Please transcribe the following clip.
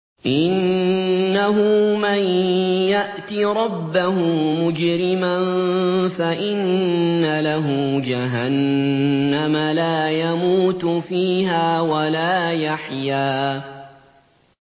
إِنَّهُ مَن يَأْتِ رَبَّهُ مُجْرِمًا فَإِنَّ لَهُ جَهَنَّمَ لَا يَمُوتُ فِيهَا وَلَا يَحْيَىٰ